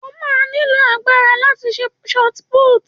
O máa nílò agbára láti ju Ṣọ́tí putìì.